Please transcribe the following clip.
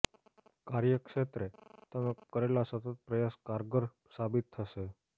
કાર્યક્ષેત્રે તમે કરેલા સતત પ્રયાસ કારગર સાબિત થશે